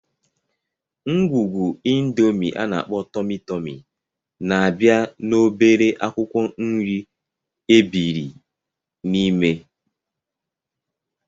Ngwungwu Indomi ana-akpo Tomi-Tomi na-abịa na obere akwụkwọ nri ebibiri n'ime.